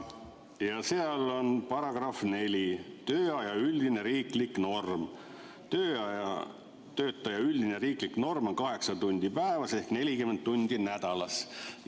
Ja seal on § 4, "Tööaja üldine riiklik norm": "Töötaja tööaja üldine riiklik norm on 8 tundi päevas ehk 40 tundi nädalas.